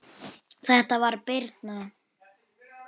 Þetta var Birna.